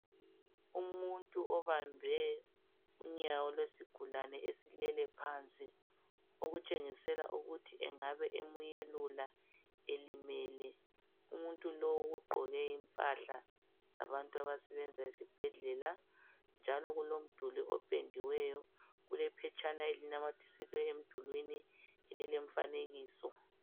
Umuntu obambe unyawo lwesigulani esilele phansi okutshengisela ukuthi engabe emuyelula elimele umuntu lowu ugqoke impahla zabantu abasebenza ezibhedlela njalo kulomduli opediweyo kulephetshana elinamathiselwe emdulwini elilemfanekiso.